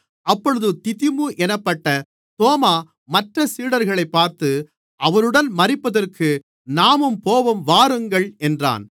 அப்பொழுது திதிமு என்னப்பட்ட தோமா மற்றச் சீடர்களைப் பார்த்து அவருடன் மரிப்பதற்கு நாமும் போவோம் வாருங்கள் என்றான்